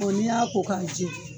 Ko n'A y'a ko k'a Jɛ